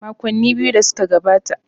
Makonni biyu da suka gabata.